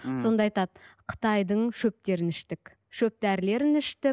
сонда айтады қытайдың шөптерін іштік шөп дәрілерін іштік